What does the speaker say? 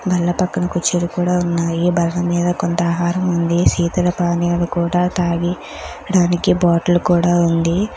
బల్ల పక్కన కుర్చీలు కూడా ఉన్నాయి. బల్ల మీద కొంత ఆహారం ఉంది. శీతల పానీయాలు కూడా తాగి దానికి బాటిల్ కూడా ఉంది.